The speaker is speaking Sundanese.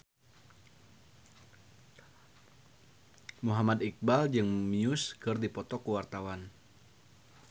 Muhammad Iqbal jeung Muse keur dipoto ku wartawan